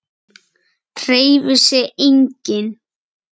Hreyfir sig enginn?